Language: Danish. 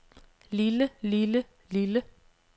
lille lille lille